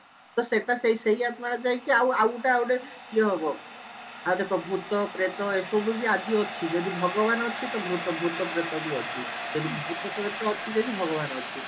ତ ସେଟା ସେଇ ସେଇ ଆତ୍ମାଟା ଯାଇକି ଆଉ ଆଉ ଗୋଟେ ଆଉ ଗୋଟେ ଇଏ ହବ ଆଉ ଦେଖ ଭୁତ ପ୍ରେତ ଏସବୁ ବି ଆଜି ଅଛି ଯଦି ଭଗବାନ ଅଛି ତ ଭୁତ ଭୁତପ୍ରେତ ବି ଅଛି ଯଦି ଭୁତପ୍ରେତ ଅଛି ଯଦି ଭଗବାନ ଅଛି